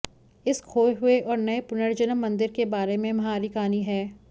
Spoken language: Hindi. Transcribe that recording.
इस खोए हुए और नए पुनर्जन्म मंदिर के बारे में हमारी कहानी है